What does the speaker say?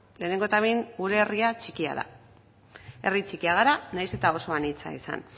lehenengo eta behin gure herria txikia da herri txikia gara nahiz eta oso anitza izan